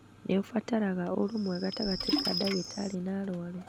nĩ ũbataraga ũrũmwe gatagatĩ ka ndagĩtarĩ na arũaru.